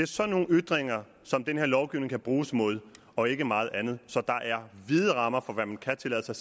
sådan nogle ytringer som den her lovgivning kan bruges imod og ikke meget andet så der er vide rammer for hvad man kan tillade sig